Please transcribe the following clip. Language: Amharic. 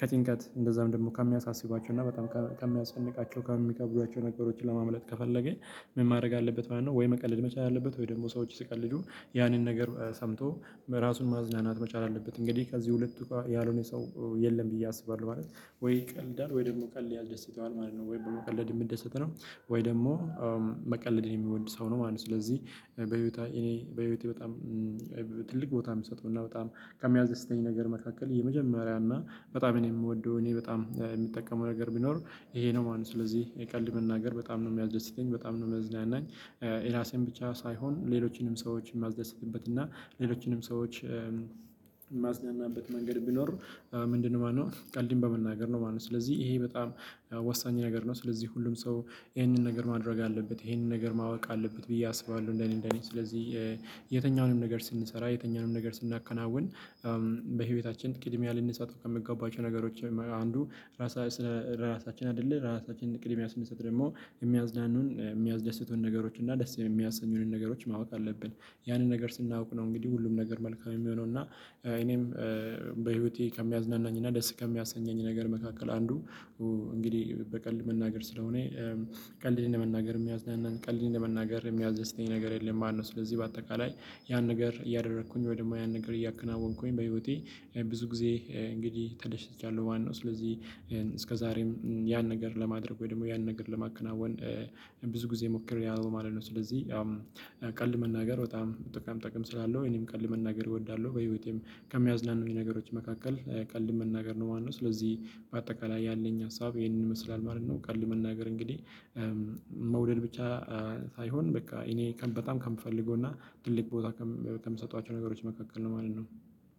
ከጭንቀት እንደዛም ደግሞ ከሚያሳስባቸው እና በጣም ከሚያስጨንቃቸው ከሚከብዷቸው ነገሮችን ለማምለጥ ከፈለገ። ምን ማድረግ አለበት ማለት ነው? ወይ መቀለድ መቻል አለበት ወይ ደግሞ ሰዎች ሲቀልዱ ያንን ነገር ሰምቶ ራሱን ማዝናናት መቻል አለበት። እንግዲህ ከዚህ ሁለቱ ያልሆነ ሰው የለም ብዬ አስባለሁ ማለት ነው። ወይ ይቀልዳል ወይ ደግሞ ቀልድ ያስደስተዋል ማለት ነው። ወይ በመቀለድ የሚደሰት ነው። ወይ ደግሞ መቀለድን የሚወድ ሰው ነው ማለት ነው። ስለዚህ በህይወቴ እኔ በህይወቴ በጣም ትልቅ ቦታ የሚሰጠው እና በጣም ከሚያስደተኝ ነገር መካከል የመጀመሪያ እና በጣም እኔ የምወደው እኔ በጣም የምጠቀመው ነገር ቢኖር ይሄ ነው ማለት ነው። ስለዚህ የቀልድ መናገር በጣም ነው የሚያስደስተኝ በጣም ነው የሚያዝናናኝ። የራሴን ብቻ ሳይሆን ሌሎችንም ሰዎችን የማስደስትበት እና ሌሎችንም ሰዎች የማዝናናበት መንገድ ቢኖር ምንድነው ማነው ቀልድን በመናገር ነው ማለት ነው። ስለዚህ ይሄ በጣም ወሳኝ ነገር ነው። ስለዚህ ሁሉም ሰው ይሄንን ነገር ማድረግ አለበት ይሄንን ነገር ማወቅ አለበት ብዬ አስባለሁ። እንደኔ እንደኔ ስለዚህ የትኛውንም ነገር ስንሰራ የትኛውንም ነገር ስናከናውን በህይወታችን ቅድሚያ ልንሰጥ ከምንገባቸው ነገሮች አንዱ ራሳ ራሳችን አይደለ ራሳችን ቅድሚያ ስንሰጥ ደግሞ የሚያዝናኑን የሚያደስቱን ነገሮች እና ደስ የሚያሰኙንን ነገሮች ማወቅ አለብን። ያንን ነገር ስናውቅ ነው እንግዲህ ሁሉም ነገር መልካም የሚሆነው። እና እኔም በህይወቴ ከሚያዝናናኝና ደስ ከሚያሰኘኝ ነገር መካከል አንዱ እንግዲህ በቀልድ መናገር ስለሆነ ቀልድን እንደ መናገር ሚያዝናን ቀልድን እንደ መናገር የሚያስደተኝ ነገር የለም። ማነው ስለዚህ በአጠቃላይ ያን ነገር እያደረኩኝ ወይ ደግሞ ያን ነገር እያከናወንኩኝ በህይወቴ። ብዙ ጊዜ እንግዲህ ተደሽቻለሁ ማነው። ስለዚህ እስከዛሬም ያን ነገር ለማድረግ ወይ ደግሞ ያን ነገር ለማከናወን ብዙ ጊዜ ሞክርያለው ማለት ነው። ስለዚህ ቀልድ መናገር በጣም ጥቃም ጥቅም ስላለው እኔም ቀልድ መናገር እወዳለሁ። በህይወቴም ከሚያዝናኑኝ ነገሮች መካከል ቀልድ መናገር ነው ማለት ነው። ስለዚህ በአጠቃላይ ያለኝ ሀሳብ ይሄንን ይመስላል ማለት ነው። ቀልድ መናገር እንግዲህ መውደድ ብቻ ሳይሆን በቃ እኔ በጣም ከምፈልገው እና ትልቅ ቦታ ከምሰጧቸው ነገሮች መካከል ነው ማለት ነው።